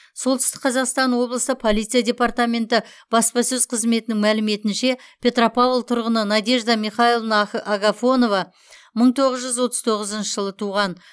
солтүстік қазақстан облысы полиция департаменті баспасөз қызметінің мәліметінше петропавл тұрғыны надежда михайловна ах агафонова мың тоғыз жүз отыз тоғызыншы жылы туған